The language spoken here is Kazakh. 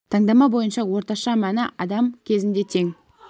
таңдама бойынша орташа мәні адам кезінде тең